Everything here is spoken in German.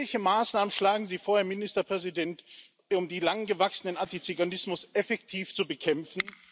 Welche Maßnahmen schlagen Sie vor, Herr Ministerpräsident, um den lang gewachsenen Antiziganismus effektiv zu bekämpfen?